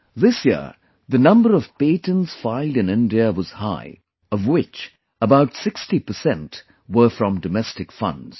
This year, the number of patents filed in India was high, of which about 60% were from domestic funds